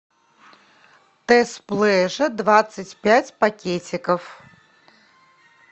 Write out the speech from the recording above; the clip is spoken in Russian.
тесс плежа двадцать пять пакетиков